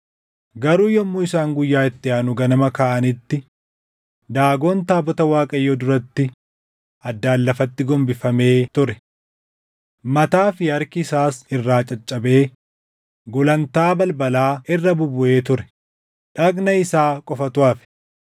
Garuu yommuu isaan guyyaa itti aanu ganama kaʼanitti Daagon taabota Waaqayyoo duratti addaan lafatti gombifamee ture! Mataa fi harki isaas irraa caccabee gulantaa balbalaa irra bubbuʼee ture; dhagna isaa qofatu hafe.